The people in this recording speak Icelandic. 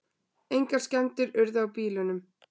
Engar skemmdir urðu á bílunum